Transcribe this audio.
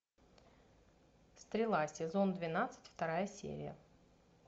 стрела сезон двенадцать вторая серия